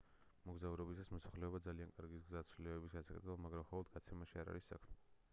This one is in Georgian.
მოგზაურობისას მოხალისეობა ძალიან კარგი გზაა ცვლილებების გასაკეთებლად მაგრამ მხოლოდ გაცემაში არ არის საქმე